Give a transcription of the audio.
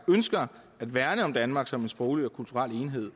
ønsker at værne om danmark som en sproglig og kulturel enhed